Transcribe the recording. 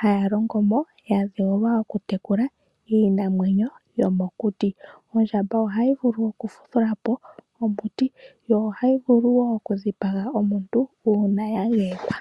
haya longo mo ya dheulwa okutekula iinamwenyo yomokuti. Ondjamba ohayi vulu oku vudhula po omuti, yo ohayi vulu wo okudhipaga omuntu uuna ya geyekwa.